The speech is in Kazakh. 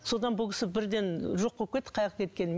содан бұл кісі бірден жоқ болып кетті қаяаққа кеткенін